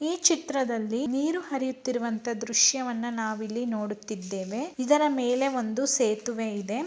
ಈ ಚಿತ್ರದಲ್ಲಿ ನೀರು ಹರಿಯುತ್ತಾ ಇರುವಂತ ದೃಶ್ಯವನ್ನು ನಾವು ಇಲ್ಲಿ ನೋಡುತ್ತಾ ಇದ್ದೇವೆ ಇದರ ಮೇಲೆ ಒಂದು ಸೇತು--